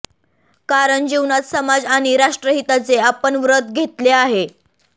कारण जीवनात समाज आणि राष्ट्रहिताचे आपण व्रत घेतले आहे